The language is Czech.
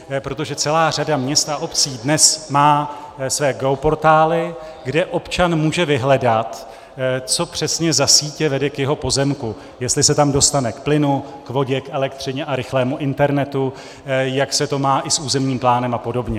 Protože celá řada měst a obcí dnes má své geoportály, kde občan může vyhledat, co přesně za sítě vede k jeho pozemku, jestli se tam dostane k plynu, k vodě, k elektřině a rychlému internetu, jak se to má i s územním plánem a podobně.